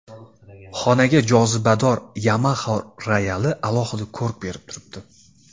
Xonaga jozibador Yamaha royali alohida ko‘rk berib turibdi.